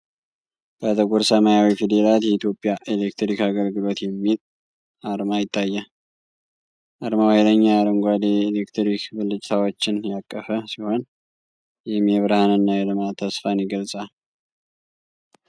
በጥቁር ሰማያዊ ፊደላት "የኢትዮጵያ ኤሌክትሪክ አገልግሎት" የሚል አርማ ይታያል። አርማው ኃይለኛ አረንጓዴ የኤሌክትሪክ ብልጭታዎችን ያቀፈ ሲሆን፣ ይህም የብርሃንና የልማት ተስፋን ይገልፃል።